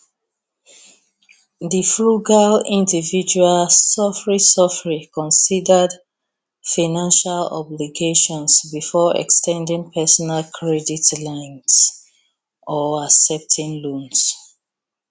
di frugal individual sofri sofri considered financial obligations before ex ten ding personal credit lines or accepting loans